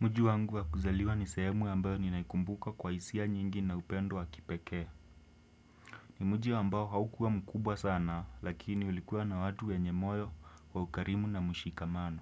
Mji wangu wa kuzaliwa ni sehemu ambayo ninaikumbuka kwa hisia nyingi na upendo wa kipekee. Ni mji wa ambayo haukua mkubwa sana lakini ulikuwa na watu wenye moyo wa ukarimu na mshikamano.